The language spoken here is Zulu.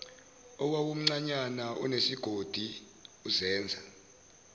owawumncanyana unesigodi uzenza